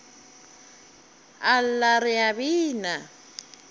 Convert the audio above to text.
a lla re a bina